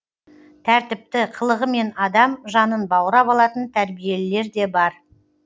тәртіпті қылығымен адам жанын баурап алатын тәрбиелілерде бар